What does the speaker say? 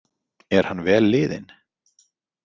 Er hann vel liðinn?